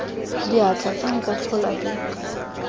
diatla fa nka tlhola ke